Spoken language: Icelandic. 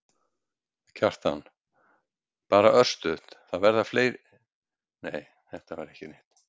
Kjartan: Bara örstutt, það verða fleiri mótmæli?